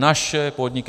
Naše podniky.